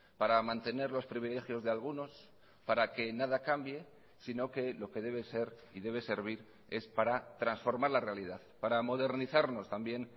para mantener los privilegios de algunos para que nada cambie sino que lo que debe ser y debe servir es para transformar la realidad para modernizarnos también